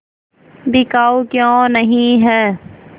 बिकाऊ क्यों नहीं है